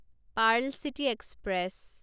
Perl city express